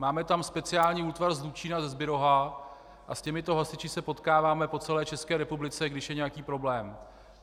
Máme tam speciální útvar z Hlučína, ze Zbirohu, a s těmito hasiči se potkáváme po celé České republice, když je nějaký problém.